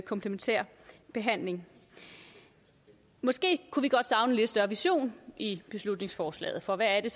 komplementær behandling måske kunne vi godt savne lidt større vision i beslutningsforslaget for hvad er